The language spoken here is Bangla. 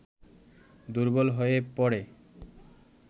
দুর্বল হয়ে পড়ে